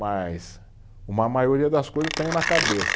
Mas uma maioria das coisas eu tenho na cabeça.